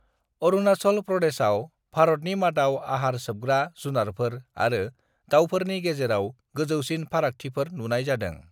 अरुणाचल प्रदेशआव भारतनि मादाव आहार सोबग्रा झुनारफोर आरो दावफोरनि गेजेराव गोजौसिन फारागथिफोर नुनाय जादों।